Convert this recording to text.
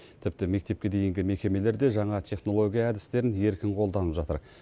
тіпті мектепке дейінгі мекемелер де жаңа технология әдістерін еркін қолданып жатыр